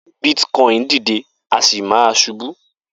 Bitcoin dìde a sì máa ṣubu